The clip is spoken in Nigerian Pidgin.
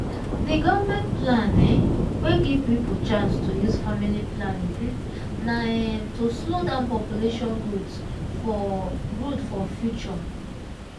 the government plan um wey give people chance to use family planning um na um to slow down population growth for growth for future